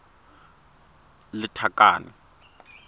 lethakane